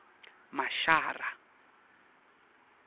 mashara